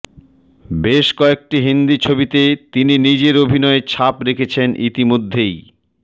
বেশ কয়েকটি হিন্দি ছবিতে তিনি নিজের অভিনয়ের ছাপ রেখেছেন ইতিমধ্যেই